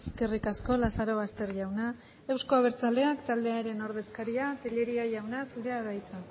eskerrik asko lazarobaster jauna euzko abertzaleak taldearen ordezkaria tellería jauna zurea da hitza